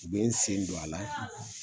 U bɛ n sen don a la, .